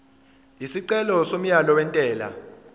isicelo somyalo wentela